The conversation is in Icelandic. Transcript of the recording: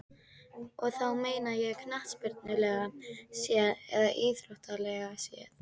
Og þá meina ég knattspyrnulega séð eða íþróttalega séð?